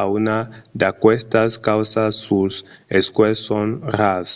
a unas d'aquestas causas suls escuèlhs son rars